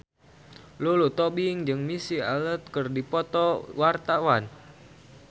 Lulu Tobing jeung Missy Elliott keur dipoto ku wartawan